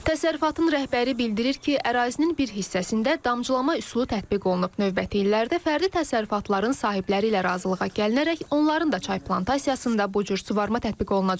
Təsərrüfatın rəhbəri bildirir ki, ərazinin bir hissəsində damcılama üsulu tətbiq olunub, növbəti illərdə fərdi təsərrüfatların sahibləri ilə razılığa gəlinərək onların da çay plantasiyasında bu cür suvarma tətbiq olunacaq.